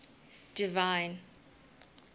divine